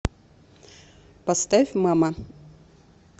поставь мама